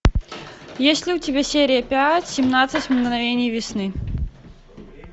есть ли у тебя серия пять семнадцать мгновений весны